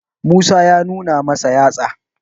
musa ya nuna masa yatsa